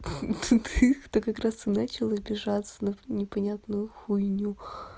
ха-ха ты как раз и начал обижаться на непонятную хуйню